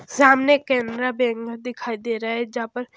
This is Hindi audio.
सामने केनरा बैंक दिखाई दे रहा है जहां पर--